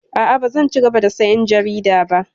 A'a, bazan cigaba da sayan jarida ba.